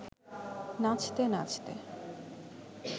নাচতে নাচতে